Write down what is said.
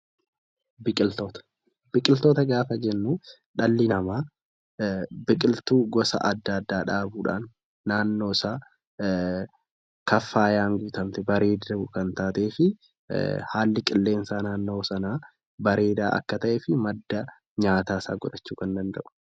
Biqiloota gaafa jennu dhalli namaa biqiltuu gosa adda addaa dhaabuudhaan naannoosaa kan faayuu fi haalli qilleensa naannoo Sanaa bareeda Akka ta'ee fi madda nyaataa godhuu kan danda'udha